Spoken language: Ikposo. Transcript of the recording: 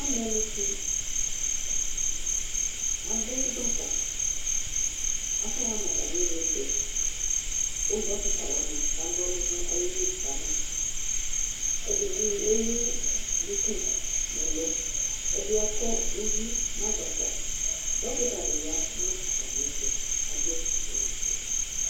ɔmɛlutsi ado gbaka k'aka ɣa n'atami ivlitsɛ kò dɔkta wani kana ɔlò n'ayili kama ɛdini ewu duku n'ɛlu ɛdi akɔ uvi n'agbata dɔkta di ya no atamiɛto k'ado awu ofue